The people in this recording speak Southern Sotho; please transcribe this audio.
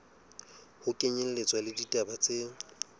ho kenyelletswa le ditaba tse